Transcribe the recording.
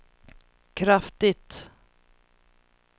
kraftigt